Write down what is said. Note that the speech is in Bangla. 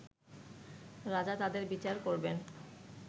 রাজা তাদের বিচার করবেন